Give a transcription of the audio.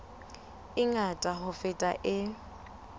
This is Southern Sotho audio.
e ngata ho feta e